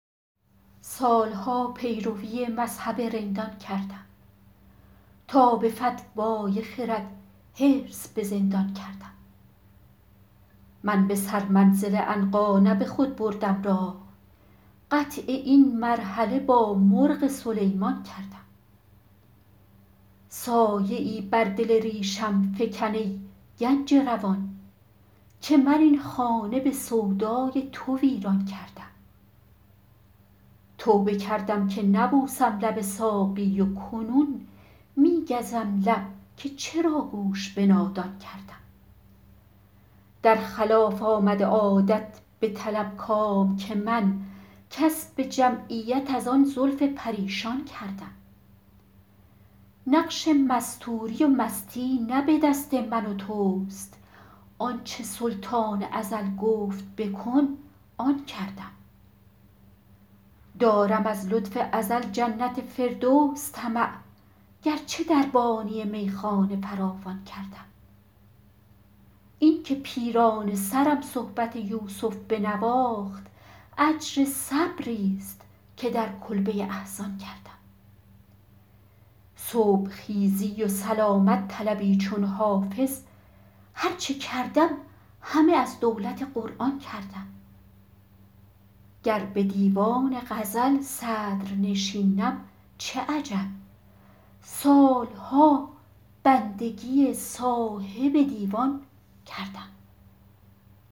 سال ها پیروی مذهب رندان کردم تا به فتوی خرد حرص به زندان کردم من به سرمنزل عنقا نه به خود بردم راه قطع این مرحله با مرغ سلیمان کردم سایه ای بر دل ریشم فکن ای گنج روان که من این خانه به سودای تو ویران کردم توبه کردم که نبوسم لب ساقی و کنون می گزم لب که چرا گوش به نادان کردم در خلاف آمد عادت بطلب کام که من کسب جمعیت از آن زلف پریشان کردم نقش مستوری و مستی نه به دست من و توست آن چه سلطان ازل گفت بکن آن کردم دارم از لطف ازل جنت فردوس طمع گرچه دربانی میخانه فراوان کردم این که پیرانه سرم صحبت یوسف بنواخت اجر صبریست که در کلبه احزان کردم صبح خیزی و سلامت طلبی چون حافظ هر چه کردم همه از دولت قرآن کردم گر به دیوان غزل صدرنشینم چه عجب سال ها بندگی صاحب دیوان کردم